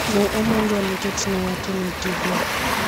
"Ne omonjwa nikech ne watimo tijwa."